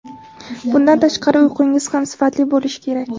Bundan tashqari uyqungiz ham sifatli bo‘lishi kerak.